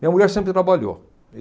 Minha mulher sempre trabalhou.